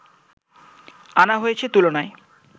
আনা হয়েছে তুলনায়